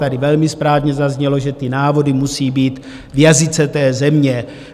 Tady velmi správně zaznělo, že ty návody musí být v jazyce té země.